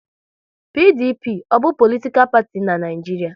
PDP ọ bụ politikal parti n'Naijiria?